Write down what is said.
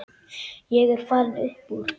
Ég er farinn upp úr.